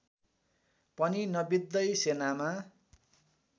पनि नबित्दै सेनामा